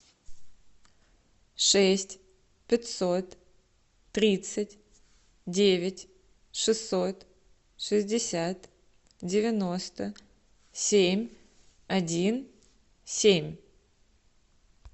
шесть пятьсот тридцать девять шестьсот шестьдесят девяносто семь один семь